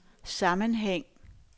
sammenhæng